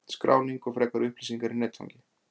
Skráning og frekari upplýsingar í netfangi